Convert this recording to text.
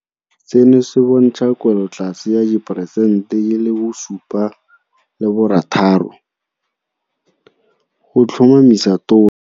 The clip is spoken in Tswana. Seno se bontsha kwelotlase ya diperesente di le 7.6 go tlhomamisa Tona.